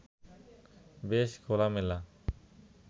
বেশ খোলামেলা